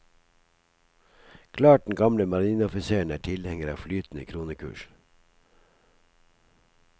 Klart den gamle marineoffiseren er tilhenger av flytende kronekurs.